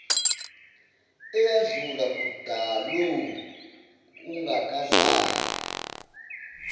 eyadlula kudalo ungakazalwa